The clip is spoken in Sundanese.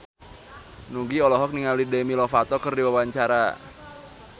Nugie olohok ningali Demi Lovato keur diwawancara